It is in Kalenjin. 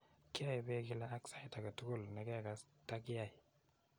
Kiae peek kila , ak sait age tugul ne kekass ta kiai